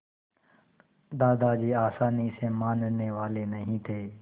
दादाजी आसानी से मानने वाले नहीं थे